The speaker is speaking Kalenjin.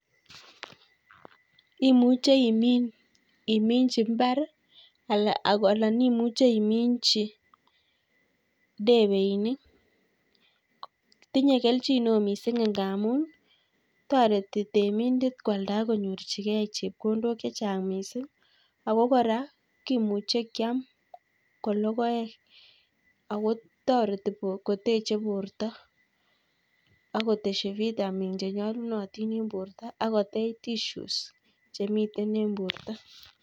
Imuche imin iminchi mbar anan imuche iminchi debeinik. tinye kelchineo miising' ing' ngaamun toreti temindet kwalda akonyorchigei chepkondokchechang' miising' ako korakimuche kyam kologoek, akotoreti koteche borto akotesyi vitamins chenyolunitin ing' borto akotech tissues chemite ing'borto